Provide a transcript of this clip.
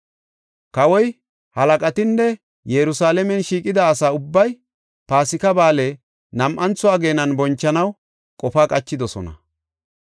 Kawoy, halaqatinne Yerusalaamen shiiqida asa ubbay Paasika Ba7aale nam7antho ageenan bonchanaw qofa qachidosona.